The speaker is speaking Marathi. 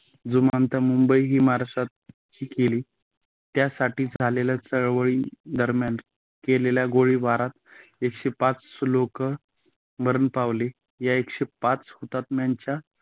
जुमंता मुंबई ही महाराष्ट्रात केली. त्यासाठीच झालेल्या चळवळील दरम्यान केलेल्या गोळीबारात एकशे पाच लोक मरण पावली या एकशे पाच हुतात्म्यांच्या